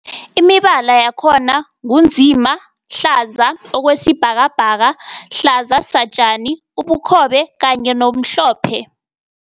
Imibala yakhona ngu nzima, hlaza okwesibhakabhaka, hlaza satjani, ubukhobe kanye nomhlophe.